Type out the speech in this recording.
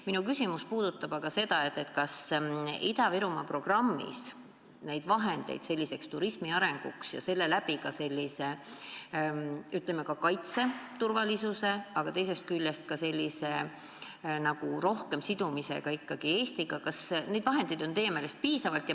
Minu küsimus on aga selle kohta, kas Ida-Virumaa programmis on vahendeid turismi arendamiseks ja selle läbi ka, ütleme, riigi turvalisuse suurendamiseks ja teisest küljest elanike rohkemaks sidumiseks Eestiga ikka piisavalt.